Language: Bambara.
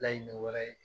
Laɲini wɛrɛ ye